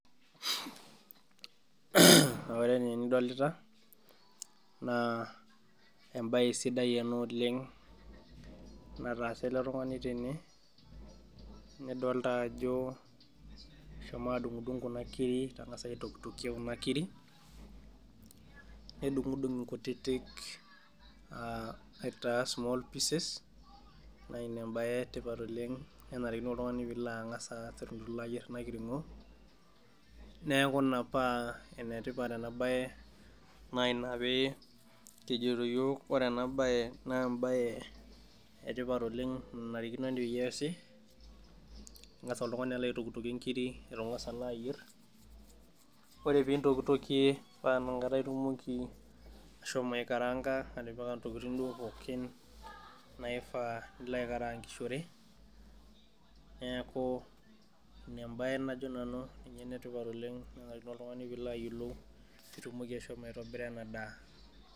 Ore enaa enidolita naa embaye sidai ena oleng' nataasa ele tung'ani tene nidol taa ajo eshomo adung'idung' kuna kirikik kengasa aitokitokie kuna kirik nedung'idung' inkutitik aitaa small pieces naa ina ebaye ee tipat oleng' nenarikino oltung'ani pilo ang'asa pee ilo ayierre ena kiring'o neeku ina paa enetipat ena baye naa inaa pee kijito iyook ore ena bae naa embaye etipat oleng' narikino peyie easi ing'asa oltung'ani alo aitokitokie ikirik itu ing'asa naa ayierr oree peintokitokie naa ina kata itumoki ashomo aikaraanka atipika intokiting' duo pookin naifa nilo aikaraankishore neeku ina embae najo nanu ninye enetipat oleng' najii pilo oltung'ani piilo ayiolou peeitumoki ashomo aitobira ena daa.